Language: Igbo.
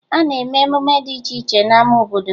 A na-eme emume dị iche iche n'ama obodo